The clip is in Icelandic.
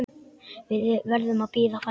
Við verðum að bíða færis.